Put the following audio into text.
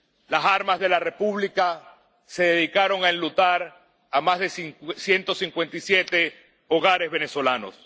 Las armas de la República se dedicaron a enlutar a ciento cincuenta y siete hogares venezolanos.